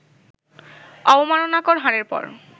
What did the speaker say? অবমাননাকর হারের পর